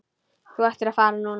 Þú ættir að fara núna.